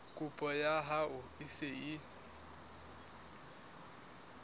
kopo ya hao e se